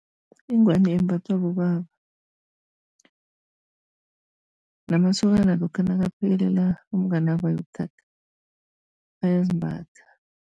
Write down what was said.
Ingwani yembathwa bobaba, namasokana lokha nakuphekelela umnganabo ayokuthatha, bayazimbatha.